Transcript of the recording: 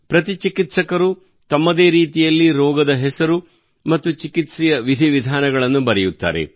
ಪ್ರತಿ ಚಿಕಿತ್ಸಕರು ತಮ್ಮದೇ ರೀತಿಯಲ್ಲಿ ರೋಗದ ಹೆಸರು ಮತ್ತು ಚಿಕಿತ್ಸೆಯ ವಿಧಿವಿಧಾನಗಳನ್ನು ಬರೆಯುತ್ತಾರೆ